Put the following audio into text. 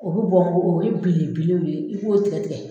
O bɛ bɔ o bi belebew de ye, i b'o tigɛ tigɛ